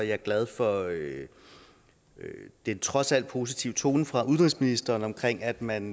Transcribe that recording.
jeg glad for den trods alt positive tone fra udenrigsministeren om at man